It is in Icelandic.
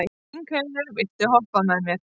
Lyngheiður, viltu hoppa með mér?